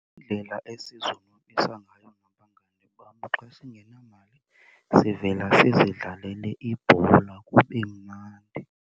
Iindlela esizonwabisa ngayo nabangani bam xa singenamali sivela sizidlalele ibhola kube mnandi.